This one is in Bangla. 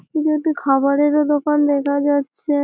এটি একটি খাবারেরও দোকান দেখা যাচ্ছে।